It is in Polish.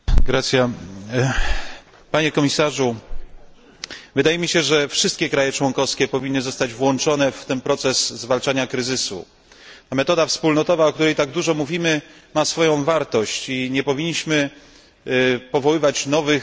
Panie komisarzu, wydaje mi się, że wszystkie kraje członkowskie powinny zostać włączone w ten proces zwalczania kryzysu, a metoda wspólnotowa, o której tak dużo mówimy, ma swoją wartość i nie powinniśmy powoływać nowych bytów, nowych instytucji.